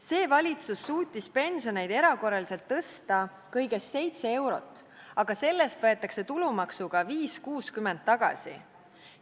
See valitsus suutis pensioneid erakorraliselt tõsta kõigest 7 eurot, aga sellest võetakse tulumaksuga 5.60 tagasi.